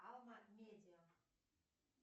алма медиа